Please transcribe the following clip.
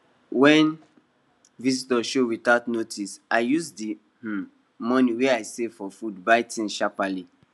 when visitors show without notice i use the um money wey i save for food buy things sharperly